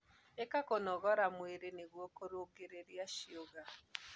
ika kũnogora mwĩrĩ nĩguo kũrũngirirĩa ciũga